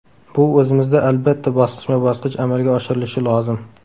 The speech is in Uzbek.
Bu o‘zimizda albatta, bosqichma-bosqich amalga oshirilishi lozim.